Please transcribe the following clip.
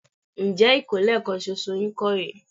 Ǹjẹ́ ìkólẹ̀ kan ṣoṣo yín kọ́ rè é?